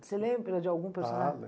Você lembra de algum personagem? Ah,